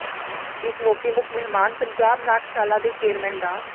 ਇਸ ਮੌਕੇ ਮੁੱਖ ਮਹਿਮਾਨ ਪੰਜਾਬ ਨਾਟਸ਼ਾਲਾ ਦੇ ਚੇਅਰਮੈਨ ਡਾ